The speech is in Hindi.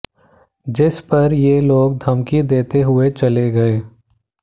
जिस पर ये लोग धमकी देते हुए चले गए